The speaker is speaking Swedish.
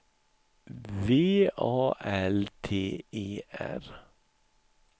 V A L T E R